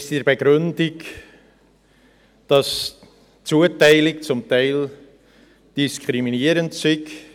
In der Begründung heisst es, dass die Zuteilung zum Teil diskriminierend sei.